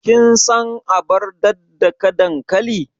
Kin san abar daddaka dankali?